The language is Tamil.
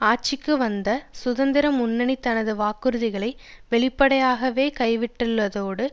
ஆட்சிக்கு வந்த சுதந்திர முன்னணி தனது வாக்குறுதிகளை வெளிப்படையாகவே கைவிட்டுள்ளதோடு